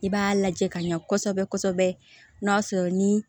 I b'a lajɛ ka ɲɛ kosɛbɛ kosɛbɛ n'a sɔrɔ ni